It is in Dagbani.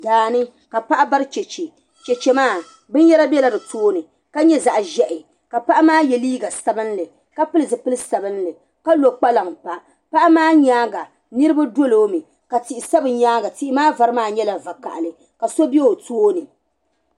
Daani ka paɣa bari cheche .cheche maa bin yɛra bɛla ditoonni ka ye. zaɣ' zahi ka paɣimaa yɛ. liiga sabinli kapili zipili sabinli kalɔ kpalaŋ pa paɣi maa. nyaaŋa niribi dɔlɔmi ka tihi sa bi nyaaŋa tihimaa vari maa vakahali . kaso bɛ otooni